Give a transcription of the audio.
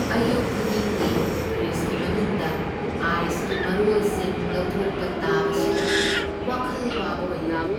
ꯑꯌꯨꯛ ꯈꯨꯗꯤꯡꯒꯤ ꯐ꯭ꯔꯤꯖꯒꯤ ꯃꯅꯨꯡꯗ ꯑꯥꯏꯁꯀꯤ ꯃꯔꯣꯜꯁꯤꯡ ꯂꯧꯊꯣꯛꯄ ꯇꯥꯕꯁꯤꯗ ꯋꯥꯈꯜ ꯋꯥꯕ ꯑꯣꯏꯍꯜꯂꯤ꯫